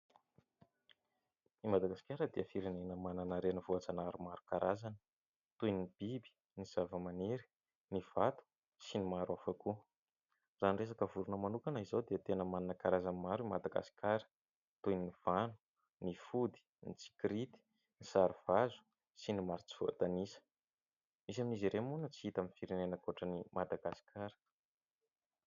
I Madagasikara dia firenena manana renivohitra maromaro karazana toy ny biby, ny zava-maniry, ny vato sy ny maro hafa koa. Raha ny resaka vorona manokana izao dia tena manana karazany maro i Madagasikara toy ny vano, ny fody, ny tsikirity, ny sarovazo sy ny maro tsy voatanisa. Misy amin'izy ireny moa no tsy hita amin'ny firenena ankoatran'ny Madagasikara.